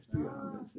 Styre ham